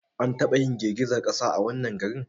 An taba yin girgizar kasa a wannan garin